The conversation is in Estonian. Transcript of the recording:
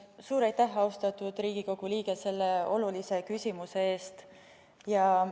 Suur aitäh, austatud Riigikogu liige, selle olulise küsimuse eest!